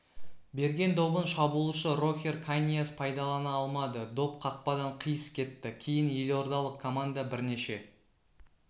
берген добын шабуылшы рохер каньяс пайдалана алмады доп қақпадан қиыс кетті кейін елордалық команда бірнеше